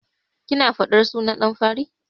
Kina faɗar sunan ɗan fari?